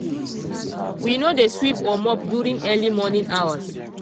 we no dey sweep or mop during early morning hours.